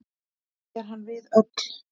Er hann við öll.